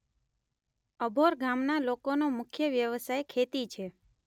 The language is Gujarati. અભોર ગામના લોકોનો મુખ્ય વ્યવસાય ખેતી છે.